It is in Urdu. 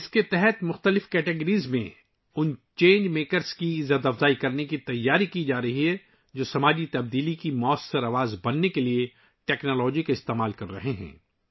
اس کے تحت مختلف کیٹیگریز میں ، ان تبدیلی سازوں کو نوازنے کی تیاریاں کی جا رہی ہیں ، جو سماجی تبدیلی کی موثر آواز بننے کے لیے ٹیکنالوجی کا استعمال کر رہے ہیں